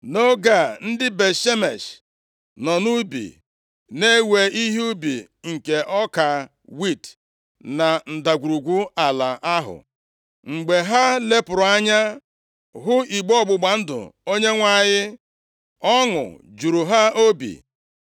Nʼoge a, ndị Bet-Shemesh nọ nʼubi na-ewe ihe ubi nke ọka wiiti na ndagwurugwu ala ahụ. Mgbe ha lepụrụ anya hụ igbe ọgbụgba ndụ Onyenwe anyị, ọṅụ juru ha obi.